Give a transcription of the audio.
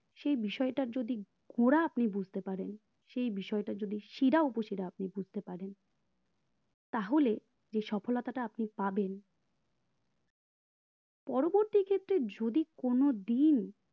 সেই বিষয়টার যদি আপনি গোড়া আপনি বুজতে পারেন সেই বিষয়টার যদি সিরা উপশিরা যদি আপনি বুজতে পারেন তাহলে যে সফলতাটা আপনি পাবেন পরবর্তীক্ষেত্রে যদি কোনো দিন